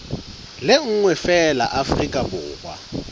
le nngwe feela afrika borwa